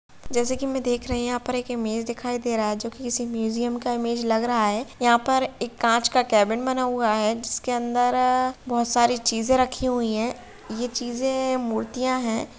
जैसे कि मैं यहां पे देख रही हुँ यहाँ पे एक इमेज दिखाई दे रहा है जो कि किसी मयूजियम का इमेज लग रहा है यहाँ पे एक कांच का केेबिन बना हुआ है जिसके अंदर बहुत सारी चीजें रखी हुई है ये चीजें मूर्तियाँ हैं।